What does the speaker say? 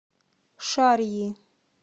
шарьи